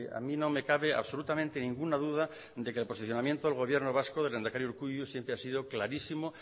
a mí no me cabe absolutamente ninguna duda de que el posicionamiento del gobierno vasco del lehendakari urkullu siempre ha sido clarísimo